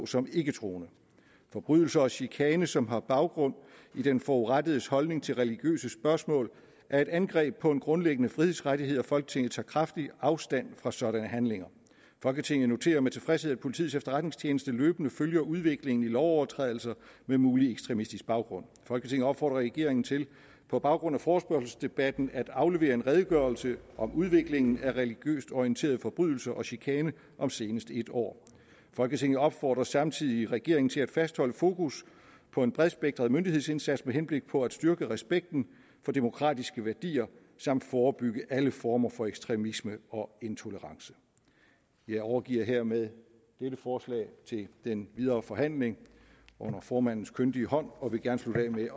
som ikketroende forbrydelse og chikane som har baggrund i den forurettedes holdning til religiøse spørgsmål er et angreb på en grundlæggende frihedsrettighed og folketinget tager kraftigt afstand fra sådanne handlinger folketinget noterer med tilfredshed at politiets efterretningstjeneste løbende følger udviklingen i lovovertrædelser med mulig ekstremistisk baggrund folketinget opfordrer regeringen til på baggrund af forespørgselsdebatten at aflevere en redegørelse om udviklingen af religiøst orienterede forbrydelser og chikane om senest et år folketinget opfordrer samtidig regeringen til at fastholde fokus på en bredspektret myndighedsindsats med henblik på at styrke respekten for demokratiske værdier samt forebygge alle former for ekstremisme og intolererance jeg overgiver dermed dette forslag til den videre forhandling under formandens kyndige hånd og vil gerne slutte af med